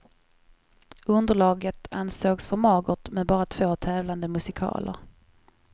Underlaget ansågs för magert med bara två tävlande musikaler.